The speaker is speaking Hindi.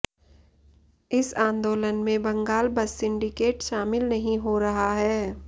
इस आंदोलन में बंगाल बस सिंडिकेट शामिल नहीं हो रहा है